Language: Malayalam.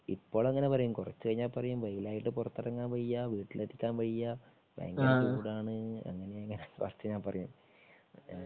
ഇപ്പള് അങ്ങനെ പറയും കുറച്ച് കഴിഞ്ഞാൽ പറയും വെയിലായിട്ട് പുറത്തിറങ്ങാൻ വയ്യ വീട്ടിലിരിക്കാൻ വയ്യ ഭയങ്കര ചൂടാണ് അങ്ങനെയാ ഇങ്ങനെയാ ന്നൊക്കെ പറയും